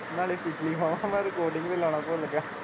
ਨਾਲੇ ਪਿੱਛਲੀ ਬਾਰ ਮੈ recording ਵੀ ਲੋਣਾ ਭੁੱਲ ਗਿਆ।